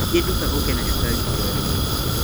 Thiĩ nduka ũke na cukari kiro ĩmwe